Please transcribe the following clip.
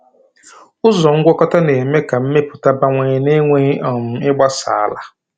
Ụzọ ngwakọta na-eme ka mmepụta bawanye na-enweghị um ịgbasa ala.